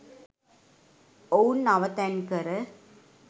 ඔවුන් අවතැන්කර